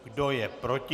Kdo je proti?